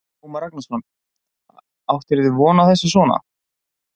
Ómar Ragnarsson: Áttirðu von á þessu svona?